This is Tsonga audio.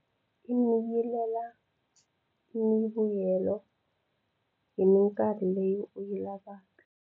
Imeyilela mivuyelo hi mikarhi leyi u yi lavaka.